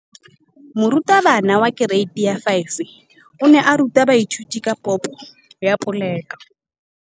Moratabana wa kereiti ya 5 o ne a ruta baithuti ka popô ya polelô.